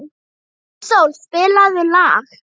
Maísól, spilaðu lag.